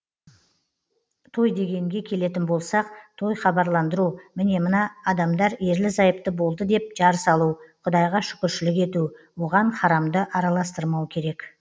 той дегенге келетін болсақ той хабарландыру міне мына адамдар ерлі зайыпты болды деп жар салу құдайға шүкіршілік ету оған харамды араластырмау керек